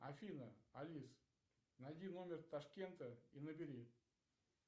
афина алис найди номер ташкента и набери